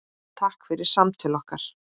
Takk fyrir samtöl okkar.